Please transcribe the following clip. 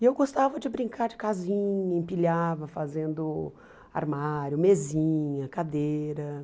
E eu gostava de brincar de casinha, empilhava fazendo armário, mesinha, cadeira.